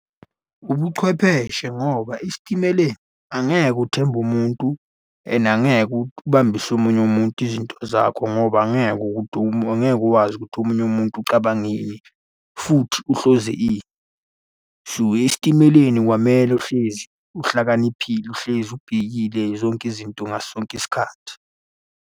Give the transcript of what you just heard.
Ubuchwepheshe ngoba esitimeleni angeke uthembe umuntu and angeke ubambise omunye umuntu izinto zakho ngoba angeke ukuthi , angeke ukwazi ukuthi omunye umuntu ucabanga ini futhi uhloze ini. So, esitimeleni kwamele uhlezi uhlakaniphile, uhlezi ubhekile zonke izinto ngaso sonke isikhathi.